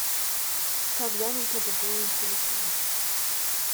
когда нужно пополнить телефон